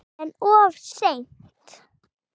En of seint.